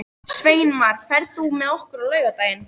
Sveinmar, ferð þú með okkur á laugardaginn?